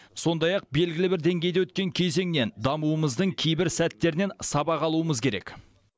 сондай ақ белгілі бір деңгейде өткен кезеңнен дамуымыздың кейбір сәттерінен сабақ алуымыз керек